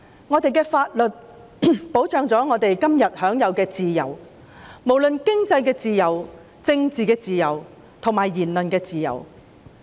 我們的法律保障我們今天享有自由，包括經濟自由、政治自由及言論自由。